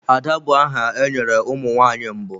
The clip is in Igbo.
Ada bụ aha e nyere ụmụ nwanyị mbụ.